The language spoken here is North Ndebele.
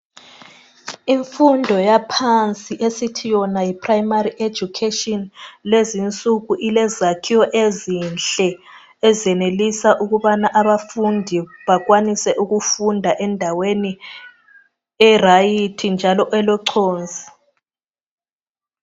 Imfundo yaphansi esithi yona yiprimary education lezi nsuku ilezakhiwo ezinhle ezenelisa ukubana abafundi bakwanise ukufunda endaweni eqondileyo njalo elochonsi.